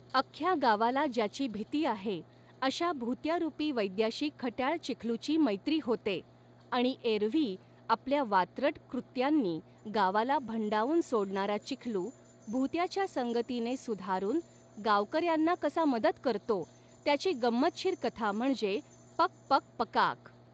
अख्ख्या गावाला ज्याची भिती आहे, अश्या भुत्या रुपी वैद्याशी खट्याळ चिखलू ची मैत्री होते आणि एरव्ही आपल्या वात्रट कृत्यांनी गावाला भंडावून सोडणारा चिखलू, भूत्याच्या संगतीने सुधारून गावकऱ्यांना कसा मदत करतो, त्याची गंमतशीर कथा म्हणजे पक पक पकाऽऽक.